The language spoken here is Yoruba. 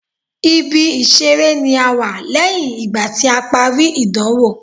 Ibi ìṣeré ni a wà lẹ́yìn ìgbà tí a parí ìdánwò.